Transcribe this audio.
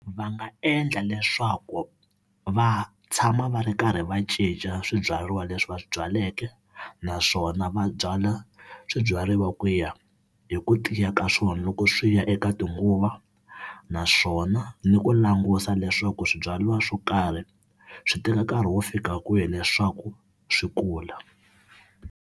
Va nga endla leswaku va tshama va ri karhi va cinca swibyariwa leswi va swi byaleke, naswona va byala swibyariwa ku ya hi ku tiya ka swona loko swi ya eka tinguva naswona ni ku langusa leswaku swibyariwa swo karhi swi teka nkarhi wo fika kwihi leswaku swi kula.